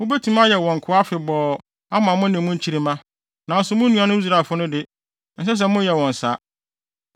Mubetumi ayɛ wɔn nkoa afebɔɔ ama mo ne mo nkyirimma, nanso mo nuanom Israelfo no de, ɛnsɛ sɛ moyɛ wɔn saa.